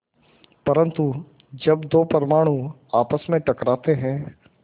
परन्तु जब दो परमाणु आपस में टकराते हैं